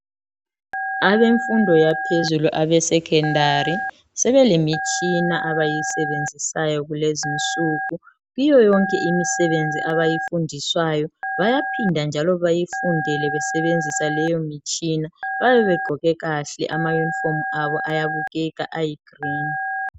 Abemfundo yaphezulu abesecondary sebelemitshina abayisebenzisayo kulezinsuku. Kiyo yonke imisebenzi abayifundiswayo bayaphinda njalo bayifundele besebenzisa leyo mitshina, bayabe begqoke kahle amayunifomu abo ayabukeka ayigreen.